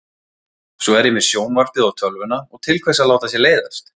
Svo er ég með sjónvarpið og tölvuna og til hvers að láta sér leiðast?